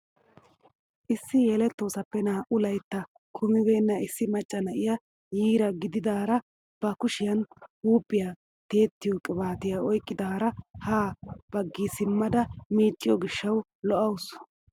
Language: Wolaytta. Issi yelettoosappe naa"u laytta kumibenna issi macca na'iyaa yiira gididaara ba kushiyaan huuphphiyaa tiyettiyoo qibaatiyaa oyqqidaara ha baggi simmada micciyoo gishshawu lo"awus!